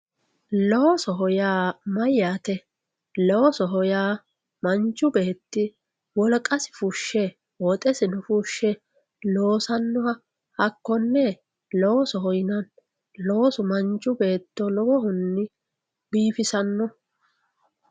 Loosoho yaa mayate, loosoho yaa manchi beetti woliqasi fushe woxxesi fushe loosanoha hako'ne loosoho yinanni loosu manchu beetto lowohunni biifissano